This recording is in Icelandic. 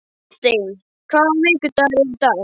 Dante, hvaða vikudagur er í dag?